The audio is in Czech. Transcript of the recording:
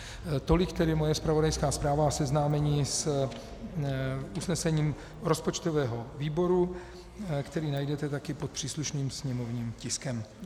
Tolik tedy moje zpravodajská zpráva a seznámení s usnesením rozpočtového výboru, které najdete také pod příslušným sněmovním tiskem.